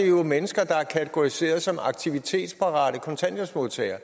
jo mennesker der er kategoriseret som aktivitetsparate kontanthjælpsmodtagere